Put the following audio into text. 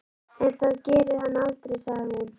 En það gerir hann aldrei, sagði hún.